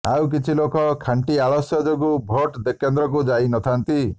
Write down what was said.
ଆଉ କିଛି ଲୋକ ଖାଣ୍ଟି ଆଳସ୍ୟ ଯୋଗୁଁ ଭୋଟ କେନ୍ଦ୍ରକୁ ଯାଇନଥାନ୍ତି